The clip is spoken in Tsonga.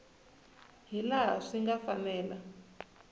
hi laha swi nga fanela